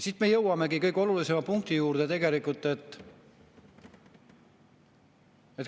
Siit me jõuamegi kõige olulisema punkti juurde.